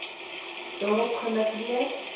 daarop gemik wees